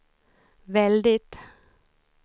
väldigt